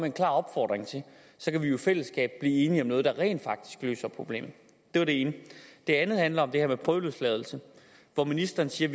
en klar opfordring til så kan vi jo i fællesskab blive enige om noget der rent faktisk løser problemet det var det ene det andet handler om det her med prøveløsladelse hvor ministeren siger